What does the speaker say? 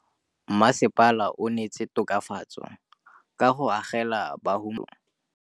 Mmasepala o neetse tokafatsô ka go agela bahumanegi dintlo.